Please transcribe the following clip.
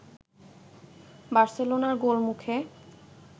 বার্সেলোনার গোলমুখে